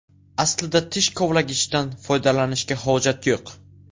Aslida tish kovlagichdan foydalanishga hojat yo‘q.